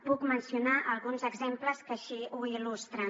puc mencionar alguns exemples que així ho il·lustren